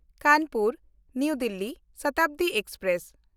ᱠᱟᱱᱯᱩᱨ–ᱱᱟᱣᱟ Delhi Shatabdi express